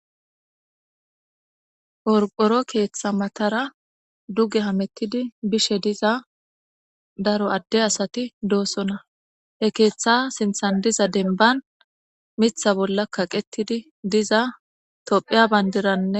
Qorqoro keththa matara duge hamutid bishe diza daro ade asati dosona he keththa sinththan diza demban miththa bolla kaqetida diza tophphiya bandira